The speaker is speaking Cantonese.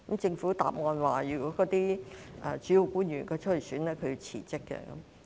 政府答稱，有關主要官員如要參選，便須辭職。